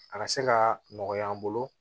A ka se ka nɔgɔya an bolo